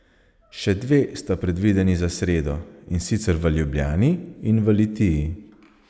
Še dve sta predvideni za sredo, in sicer v Ljubljani in v Litiji.